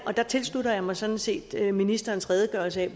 der tilslutter jeg mig sådan set ministerens redegørelse